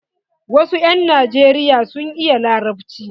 Wasu 'yan najeriya sun iya larabci.